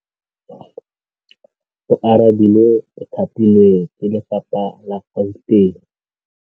Oarabile o thapilwe ke lephata la Gauteng.